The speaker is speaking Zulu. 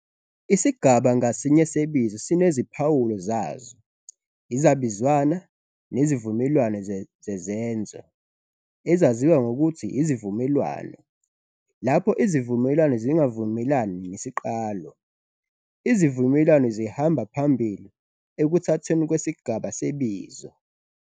Isigaba ngasinye sebizo sineziphawulo zazo, izabizwana, nezivumelwano zezenzo, ezaziwa ngokuthi 'izivumelwano' Lapho izivumelwano zingavumelani nesiqalo, izivumelwano zihamba phambili ekuthathweni kwesigaba sebizo.